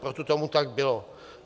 Proto tomu tak bylo.